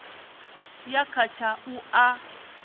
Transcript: ya kha tsha u a